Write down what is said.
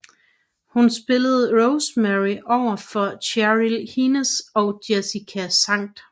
Hun spillede Rosemary over for Cheryl Hines og Jessica St